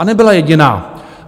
A nebyla jediná.